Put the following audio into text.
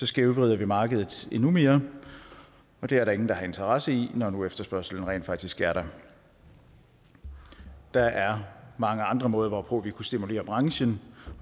skævvrider vi markedet endnu mere og det er der ingen der har interesse i når nu efterspørgslen rent faktisk er der der er mange andre måder hvorpå vi kunne stimulere branchen